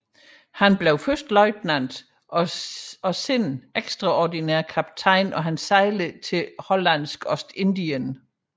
Han blev først løjtnant og senere ekstraordinær kaptajn og sejlede til Det hollandske ostindien